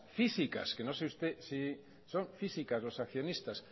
físicas que no sé usted si son físicas los accionistas